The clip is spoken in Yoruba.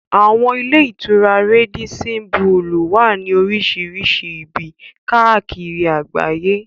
Àwọn ilé-ìtura Rádísín bulùù wà ní oríṣìíríṣìí ibi káàkiri àgbáyé.